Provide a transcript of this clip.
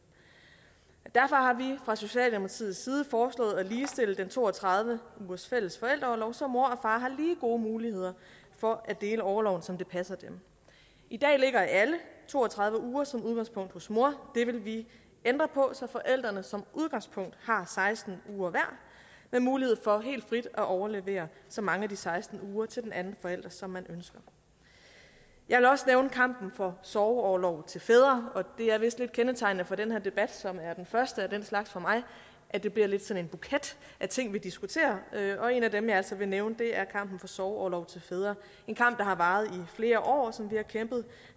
derfor har vi fra socialdemokratiets side foreslået at ligestille den to og tredive ugers fælles forældreorlov så mor og har lige gode muligheder for at dele orloven som det passer dem i dag ligger alle to og tredive uger som udgangspunkt hos mor det vil vi ændre på så forældrene som udgangspunkt har seksten uger hver med mulighed for helt frit at overlevere så mange af de seksten uger til den anden forælder som man ønsker jeg vil også nævne kampen for sorgorlov til fædre det er vist lidt kendetegnende for den her debat som er den første af den slags for mig at det bliver lidt sådan en buket af ting vi diskuterer og en af dem jeg altså vil nævne er kampen for sorgorlov til fædre en kamp der har varet i flere år og som vi har kæmpet